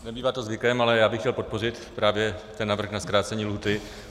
Nebývá to zvykem, ale já bych chtěl podpořit právě ten návrh na zkrácení lhůty.